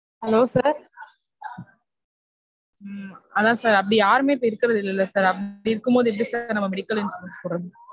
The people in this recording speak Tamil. Hello sir உம் அதான் sir அப்டி யாருமே இருக்கு இப்ப இருக்குறது இல்லல sir அப்டி இருக்கும் போது எப்டி sir நம்ம medical insurance போட முடியும்?